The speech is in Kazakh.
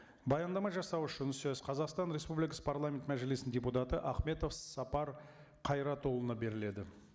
баяндама жасау үшін сөз қазақстан республикасы парламент мәжілісінің депутаты ахметов сапар қайратұлына беріледі